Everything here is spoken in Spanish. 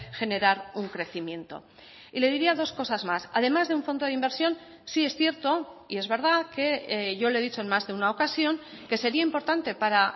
generar un crecimiento y le diría dos cosas más además de un fondo de inversión sí es cierto y es verdad que yo le he dicho en más de una ocasión que sería importante para